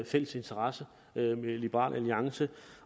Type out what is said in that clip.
fælles interesse med liberal alliance